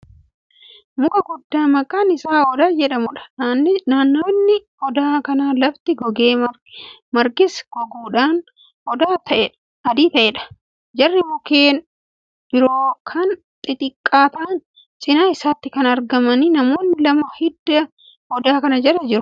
Muka guddaa maqaan Isaa odaa jedhamuudha. naannawni odaa kanaa lafti gogee, margis goguudhaan adii ta'ee Jira mukkeen biroo Kan xixxiqqaa ta'an cinaa isaatti argamu. namoonni lama hidda odaa kanaa Jala jiru. odaan gaaddisa qaba